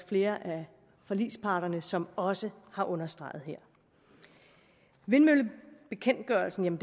flere af forligsparterne som også har understreget her vindmøllebekendtgørelsen